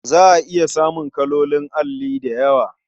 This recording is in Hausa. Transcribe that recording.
Za a iya samun kalolin alli da yawa.